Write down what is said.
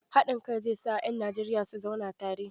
Haɗin kai zai sa 'yan Najeriya su zauna tare.